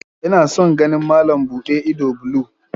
Ina son ganin malam buɗe ido blue